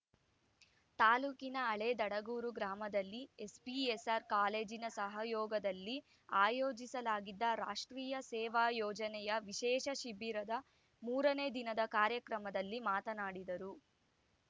ತಾಲೂಕಿನ ಹಳೇ ದಡಗೂರು ಗ್ರಾಮದಲ್ಲಿ ಎಸ್‌ಪಿಎಸ್‌ಆರ್‌ ಕಾಲೇಜಿನ ಸಹಯೋಗದಲ್ಲಿ ಆಯೋಜಿಸಲಾಗಿದ್ದ ರಾಷ್ಟ್ರೀಯ ಸೇವಾ ಯೋಜನೆಯ ವಿಶೇಷ ಶಿಬಿರದ ಮೂರನೇ ದಿನದ ಕಾರ್ಯಕ್ರಮದಲ್ಲಿ ಮಾತನಾಡಿದರು